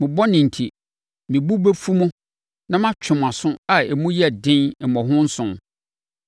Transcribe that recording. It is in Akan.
mo bɔne enti, me bo bɛfu mo na matwe mo aso a emu yɛ den mmɔho nson.